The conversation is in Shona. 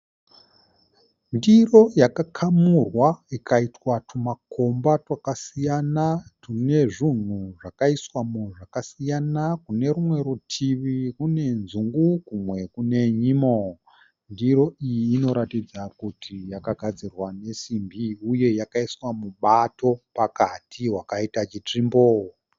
Ndiro yakamurwa ikaiswa teumakomba twakasiyana twune zvinhu zvaiswa mo zvakasiyana kumwe rumwe ritivi kune nzungu kumwe kune nyimo. Ndiro iyi inoratidza kuti yakagadzirwa nesimbi uye yakaiswa mubato pakati wakaita chitsvimbo.